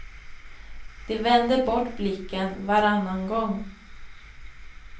De vände bort blicken varannan gång.